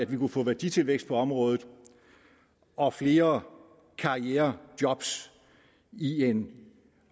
vi kunne få værditilvækst på området og flere karrierejob i en